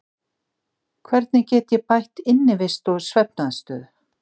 Hvernig get ég bætt innivist og svefnaðstöðu?